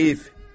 Heyf.